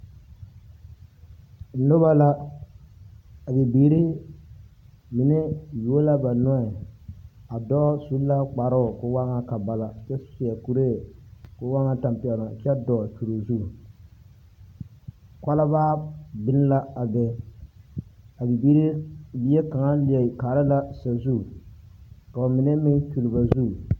Noba la, a bibiiri mine yuo la ba nɔɛ. A dɔɔ su la kparoo koo waa ŋa kabala kyɛ seɛ kuree koo waa ŋa tampɛloŋ kyɛ dɔɔ. .... kɔlbaa biŋ la a be. A bibiiri gyeɛ kaŋa leɛ kaara la sazu, ka ba mine meŋ kyul ba zu.